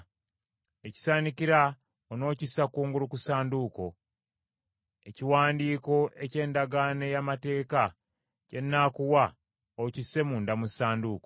Ekisaanikira onookissa kungulu ku Ssanduuko; ekiwandiiko eky’Endagaano ey’Amateeka kye nnaakuwa, okisse munda mu Ssanduuko.